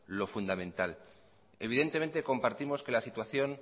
lo fundamental evidentemente compartimos que la situación